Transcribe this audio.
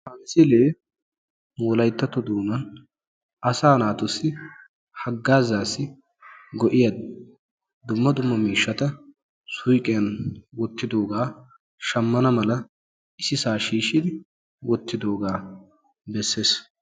Ha misilee nu wolayttatto doonan asaa naatussi haggaazaassi go'iya dumma dumma miishshata suyqiyan wottidoogaa shammana mala issisaa shiishshidi wottidoogaa besses.